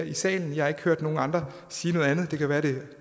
i salen jeg har ikke hørt nogen andre sige noget andet det kan være det